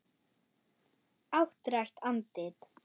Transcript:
Áttrætt andlit.